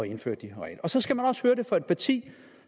indføre de her regler så skal man også høre det fra et parti